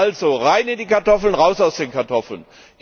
Also, rein in die Kartoffeln, raus aus den Kartoffeln!